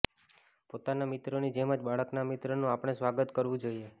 પોતાના મિત્રોની જેમ જ બાળકના મિત્રોનું આપણે સ્વાગત કરવું જોઈએ